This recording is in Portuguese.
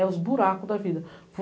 É os buracos da vida.